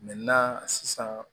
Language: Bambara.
sisan